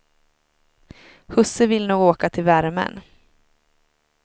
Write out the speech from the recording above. Husse vill nog åka till värmen.